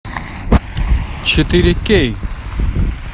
четыре кей